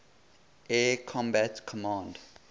air combat command